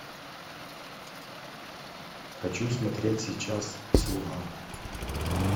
хочу смотреть сейчас слуга